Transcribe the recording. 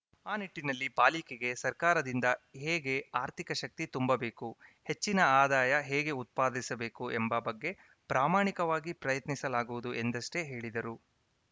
ಆ ನಿಟ್ಟಿನಲ್ಲಿ ಪಾಲಿಕೆಗೆ ಸರ್ಕಾರದಿಂದ ಹೇಗೆ ಆರ್ಥಿಕ ಶಕ್ತಿ ತುಂಬಬೇಕು ಹೆಚ್ಚಿನ ಆದಾಯ ಹೇಗೆ ಉತ್ಪಾದಿಸಬೇಕು ಎಂಬ ಬಗ್ಗೆ ಪ್ರಾಮಾಣಿಕವಾಗಿ ಪ್ರಯತ್ನಿಸಲಾಗುವುದು ಎಂದಷ್ಟೇ ಹೇಳಿದರು